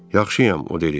Yaxşıyam, o dedi.